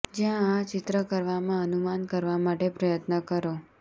જ્યાં આ ચિત્ર કરવામાં અનુમાન કરવા માટે પ્રયત્ન કરો